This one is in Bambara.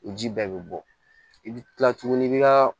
O ji bɛɛ bɛ bɔ i bɛ kila tuguni i bɛ ka